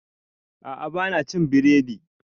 A'a ba na cin biredi